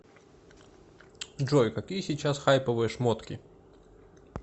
джой какие сейчас хайповые шмотки